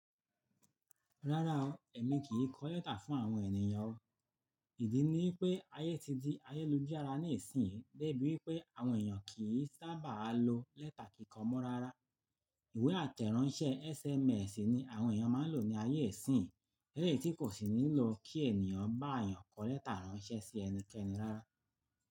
Rárá o, èmi kì í kọ lẹ́tà fún àwọn ènìyàn o. Ìdí niwi pé ayé ti di ayélujára níìsín, de ibí wipé àwọn èèyàn kì í sábà lo lẹ́tà kiko mọ́ rárá. Ìwé àtẹ̀ránsẹ́ SMS ni àwọn èèyàn máa ń lò ní ayé ìsín, eléyi ti kò sì nílò kí ènìyàn bá èèyàn kọ lẹ́tà ránṣẹ́ sí ẹnikẹ́ni rárá.